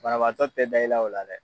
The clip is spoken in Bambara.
Banaabaatɔ tɛ da i la o la dɛ!